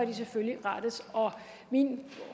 de selvfølgelig rettes og min